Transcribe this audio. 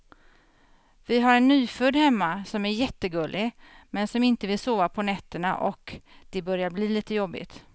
Vi har en nyfödd hemma som är jättegullig, men som inte vill sova på nätterna och det börjar bli lite jobbigt.